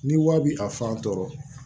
Ni wari bi a fan tɔ